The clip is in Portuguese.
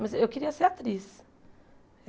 Mas eu queria ser atriz.